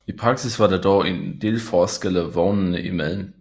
I praksis var der dog en del forskelle vognene imellem